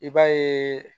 I b'a ye